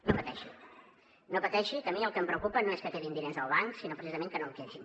no pateixi no pateixi que a mi el que em preocupa no és que quedin diners al banc sinó precisament que no en quedin